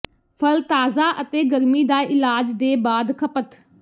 ਫਲ ਤਾਜ਼ਾ ਅਤੇ ਗਰਮੀ ਦਾ ਇਲਾਜ ਦੇ ਬਾਅਦ ਖਪਤ